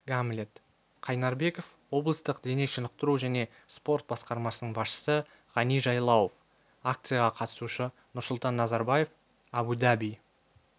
гамлет қайнарбеков облыстық дене шынықтыру және спорт басқармасының басшысы ғани жайлауов акцияға қатысушы нұрсұлтан назарбаев абу-даби